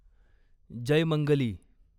Jaymangali